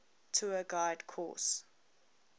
tour guide course